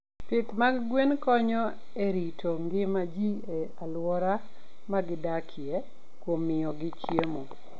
Pith mag gwen konyo e rito ngima ji e alwora ma gidakie kuom miyogi chiemo.